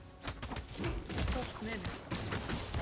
Þú sást menið.